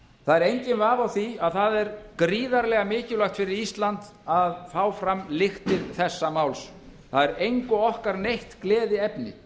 er enginn vafi á því að það er gríðarlega mikilvægt fyrir ísland að fá fram lyktir þessa máls það er engu okkar neitt gleðiefni